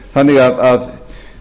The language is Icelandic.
þannig að